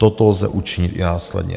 Toto lze učinit i následně.